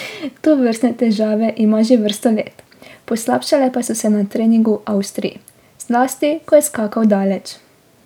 Tovrstne težave ima že vrsto let, poslabšale pa so se na treningu v Avstriji, zlasti, ko je skakal daleč.